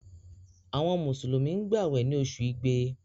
Àwọn Mùsùlùmí gbàwè ní oṣù igbe